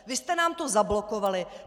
Vy jste nám to zablokovali.